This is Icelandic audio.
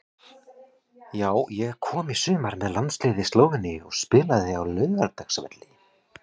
Já ég kom í sumar með landsliði Slóveníu og spilaði á Laugardalsvelli.